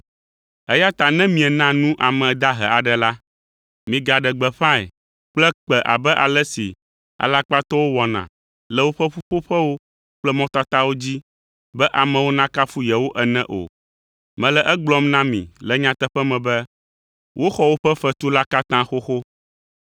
“Eya ta ne miena nu ame dahe aɖe la, migaɖe gbeƒãe kple kpẽ abe ale si alakpatɔwo wɔna le woƒe ƒuƒoƒewo kple mɔtatawo dzi, be amewo nakafu yewo ene o. Mele egblɔm na mi le nyateƒe me be, woxɔ woƒe fetu la katã xoxo.